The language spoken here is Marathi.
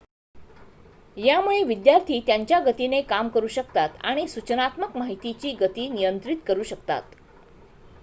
यामुळे विद्यार्थी त्यांच्या गतीने काम करु शकतात आणि सूचनात्मक माहितीची गती नियंत्रित करु शकतात